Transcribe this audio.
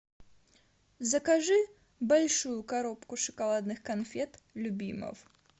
закажи большую коробку шоколадных конфет любимов